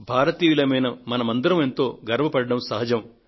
భారతీయులమైన మనమందరమూ ఎంతో గర్వ పడడం సహజం